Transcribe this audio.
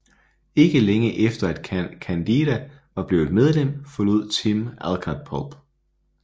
Ikke længe efter at Candida var blevet medlem forlod Tim Allcard Pulp